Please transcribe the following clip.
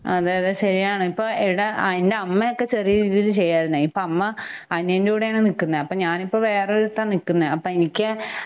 അതെഅതെ ശരിയാണ്. ഇപ്പ എടെ എൻ്റെ അമ്മയൊക്കെ ചെറിയ രീതിയില് ചെയ്യുവാരുന്നെ. ഇപ്പ അമ്മ അനിയന്റെകൂടെയാണ് നിക്കുന്നെ അപ്പ ഞാനിപ്പം വേറൊരിടത്താ നിക്കുന്നെ ആപ്പ എനിക്ക്